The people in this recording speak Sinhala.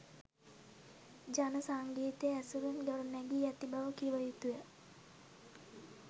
ජන සංගීතය ඇසුරින් ගොඩනැගී ඇති බව කිව යුතුය.